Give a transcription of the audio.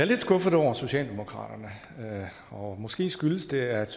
lidt skuffet over socialdemokraterne og måske skyldes det at